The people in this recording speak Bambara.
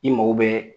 I mago bɛ